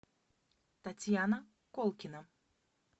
татьяна колкина